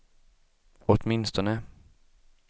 åtminstone